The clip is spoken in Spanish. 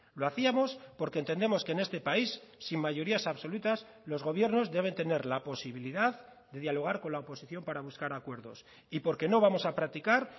lo hacíamos porque entendemos que en este país sin mayorías absolutas los gobiernos deben tener la posibilidad de dialogar con la oposición para buscar acuerdos y porque no vamos a practicar